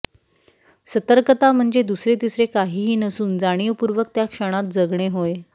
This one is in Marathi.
सतर्कता म्हणजे दुसरे तिसरे काहीही नसून जाणीवपूर्वक त्या क्षणात जगणे होय